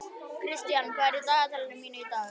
Kristian, hvað er í dagatalinu mínu í dag?